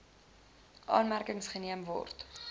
aanmerking geneem word